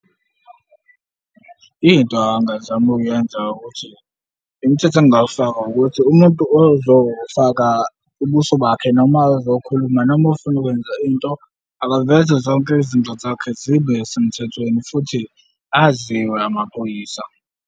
Into angazama ukuyenza ukuthi, imithetho engingawufaka ukuthi umuntu ozofaka ubuso bakhe, noma ezokhuluma noma ofuna ukwenza into, akaveze zonke izinto zakhe zibe semthethweni futhi aziwe amaphoyisa.